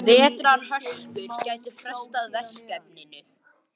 Vetrarhörkur gætu frestað verkefninu.